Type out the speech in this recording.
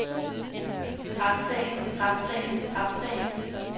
retssagen retssagen retssagen